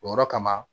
O yɔrɔ kama